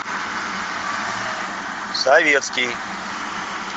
советский